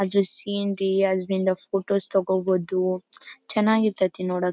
ಅದು ಸೀನ್ ರೀ ಅದ್ರಿಂದ ಫೋಟೋಸ್ ತಗೋಬಹುದು ಚೆನ್ನಾಗ್ ಇರತೈತಿ ನೋಡೋಕ್.